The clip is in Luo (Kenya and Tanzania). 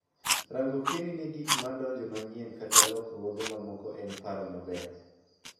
Rango pieni ne gik madonge manyien kata lokruoge mamaoko en paro maber.